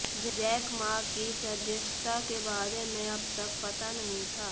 Jack Ma की सदस्यता के बारे में अब तक पता नहीं था